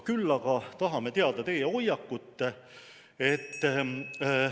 Küll aga tahame teada teie hoiakut.